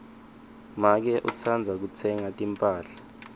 make utsandza kutsenga timphahla